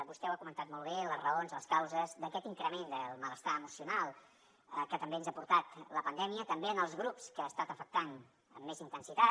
vostè ha comentat molt bé les raons les causes d’aquest increment del malestar emocional que també ens ha portat la pandèmia també en els grups que ha estat afectant amb més intensitat